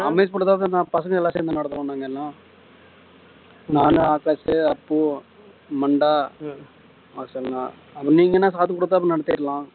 அமேஷ் பசங்க எல்லாரும் சேர்ந்து நடத்துறோம் நாங்க இன்னும் நான் ஆகாஷ் அப்பு மண்டா பசங்க நீங்க என்ன காசு கொடுத்தா நடத்திடலாம்